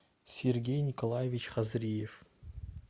сергей николаевич хазриев